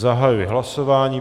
Zahajuji hlasování.